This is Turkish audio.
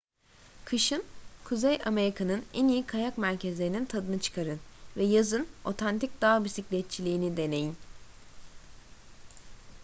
kışın kuzey amerika'nın en iyi kayak merkezlerinin tadını çıkarın ve yazın otantik dağ bisikletçiliğini deneyin